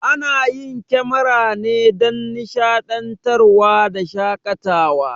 Ana yin kemara ne dan nishaɗantar wa da shakatawa